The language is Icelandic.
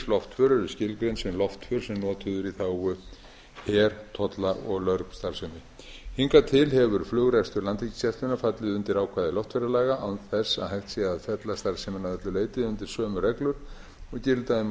en ríkisloftför eru skilgreind sem loftför sem notuð eru í þágu tolla og lögreglustarfsemi hingað til hefur flugrekstur landhelgisgæslunnar fallið undir ákvæði loftferðalaga án þess að hægt sé að fella starfsemina að öllu leyti undir sömu reglur og gilda um